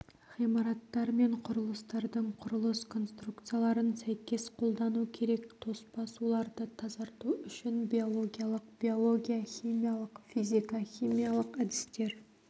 ғимараттар мен құрылыстардың құрылыс конструкцияларын сәйкес қолдану керек тоспа суларды тазарту үшін биологиялық биология-химиялық физика-химиялық әдістер